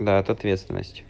да это ответственность